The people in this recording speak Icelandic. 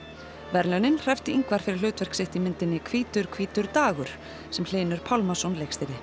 verðlaunin hreppti Ingvar fyrir hlutverk sitt í myndinni hvítur hvítur dagur sem Hlynur Pálmason leikstýrði